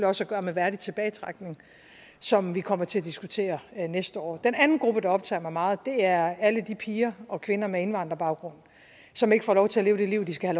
også at gøre med værdig tilbagetrækning som vi kommer til at diskutere næste år den anden gruppe der optager mig meget er alle de piger og kvinder med indvandrerbaggrund som ikke får lov til at leve det liv de skal